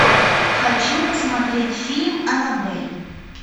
хочу посмотреть фильм анабель